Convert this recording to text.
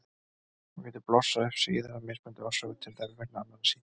Hún getur blossað upp síðar af mismunandi orsökum, til dæmis vegna annarra sýkinga.